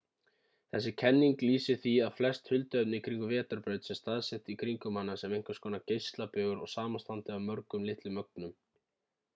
þessi kenning lýsir því að flest hulduefni í kringum vetrarbraut sé staðsett í kringum hana sem einhvers konar geislabaugur og samanstandi af mörgum litlum ögnum